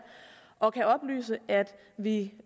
og kan oplyse at vi